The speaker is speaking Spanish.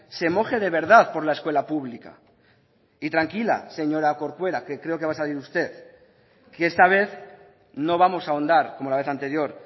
se moje de verdad por la escuela pública y tranquila señora corcuera que creo que va a salir usted que esta vez no vamos a ahondar como la vez anterior